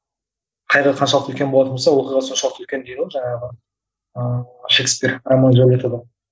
қайғы қаншалықты үлкен болатын болса оқиға соншалықты үлкен дейді ғой жаңағы ыыы шекспир ромео джульеттада